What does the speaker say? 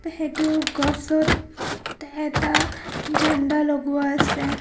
সেইটো গছত এটা ঝাণ্ডা লগোৱা আছে.